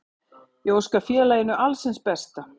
Ég óska félaginu alls hins besta.